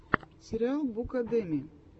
сериал букадеми